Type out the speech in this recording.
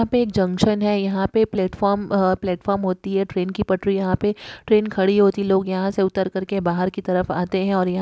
यहा पे एक जंक्शन है यहा पे प्लेटफार्म प्लेटफार्म होती है ट्रेन पटरी यहा पे ट्रेन खड़ी होती है लोग यहा से उतार के बाहर की तरफ आते है।